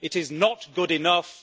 It is not good enough.